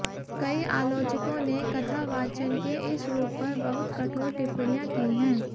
कई आलोचकों ने कथावाचन के इस रूप पर बहुत कठोर टिप्पणियां की हैं